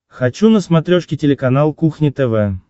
хочу на смотрешке телеканал кухня тв